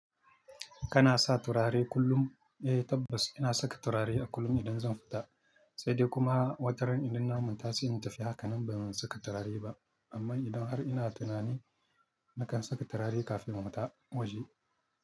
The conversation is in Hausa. Kana sa turare kullum? Eh tabbas ina saka turare a kullum idan zan fita, sai dai kuma wataran idan na manta sai in tafi, haka nan ban saka turare ba. Amma idan har ina tunani nakan saka turare kafin na fita waje.